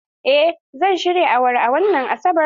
Eh, zan shirya awara a wannan Asabar.